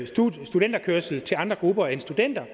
studenterkørsel til andre grupper end studenter